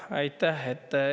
Aitäh!